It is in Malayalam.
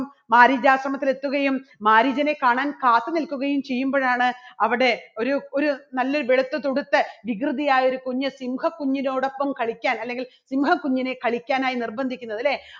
മാരീചാശ്രമത്തിൽ എത്തുകയും മാരീചനെ കാണാൻ കാത്തു നിൽക്കുകയും ചെയ്യുമ്പോഴാണ് അവിടെ ഒരു ഒരു നല്ല വെളുത്തുതുടുത്ത് വികൃതിയായ ഒരു കുഞ്ഞ് സിംഹകുഞ്ഞിനോടൊപ്പം കളിക്കാൻ അല്ലെങ്കിൽ സിംഹകുഞ്ഞിനെ കളിക്കാനായി നിർബന്ധിക്കുന്നത്. അല്ലേ?